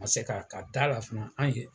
A ma se ka ka da la fana an ye